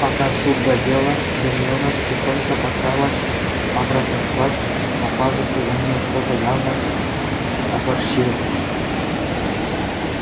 пока суд да дело гермиона тихонько прокралась обратно в класс за пазухой у нее что-то явно топорщилось